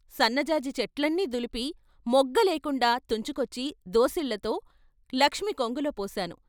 సన్నజాజి చెట్లన్నీ దులిపి మొగ్గ లేకుండా తుంచుకొచ్చి దోసిళ్ళతో లక్ష్మి కొంగులో పోశాను.